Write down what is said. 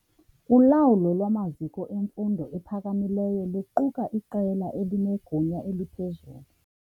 Ulawulo lwamaziko emfundo ephakamileyo luquka iqela elinegunya eliphezulu.